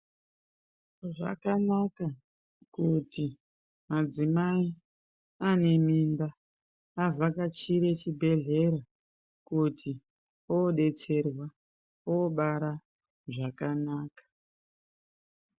Zvakanaka kuti mudzimai ane mimba avhakachire chibhedhlera kuti aodetserwa aobara zvakanaka.